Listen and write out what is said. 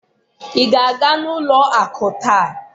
ị ga-aga ụlọ akụ taa?